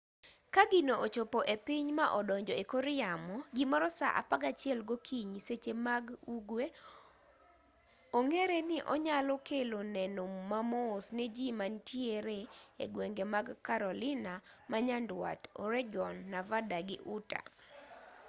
ka gino ochopo e piny ma odonjo e kor yamo gimoro saa apagachiel gokinyi seche mag ugwe ong'ere ni onyalo kelo neno mamos ne ji mantiere egwenge mag carolina manyandwat oregon nevada gi utah